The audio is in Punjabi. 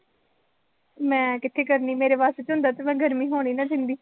ਮੈਂ ਕਿੱਥੇ ਕਰਨੀ, ਮੇਰੇ ਵੱਸ ਚ ਹੁੰਦਾ ਤਾਂ ਮੈਂ ਗਰਮੀ ਹੋਣ ਹੀ ਨਾ ਦਿੰਦੀ